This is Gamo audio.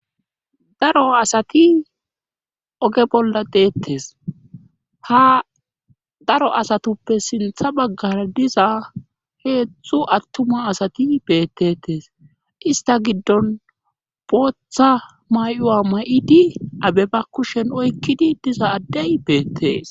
Daro asati oge bolla deettes haa daro asatuppe siinththa baggara diza heetzthu attuma asati beettetes ista giddon booththa may'uwa may'idi adey ba kushen oykkidi diza addey beettees